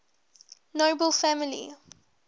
nobel family